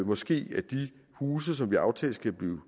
måske at de huse som vi aftalte skulle blive